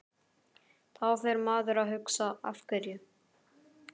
Þá fer maður að hugsa Af hverju?